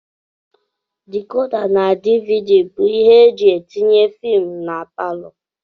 Decoda na dvd bụ ibé eji etinye filmu n' paló.